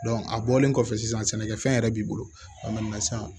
a bɔlen kɔfɛ sisan sɛnɛkɛfɛn yɛrɛ b'i bolo